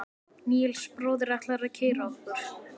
Níels bróðir ætlar að keyra okkur.